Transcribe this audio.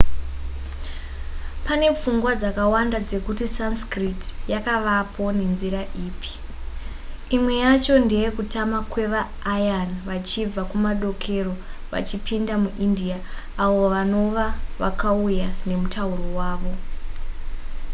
pane pfungwa dzakawanda dzekuti sanskrit yakavapo nenzira ipi imwe yacho ndeye kutama kwevaaryan vachibva kumadokero vachipinda muindia avo vanova vakauya nemutauro wavo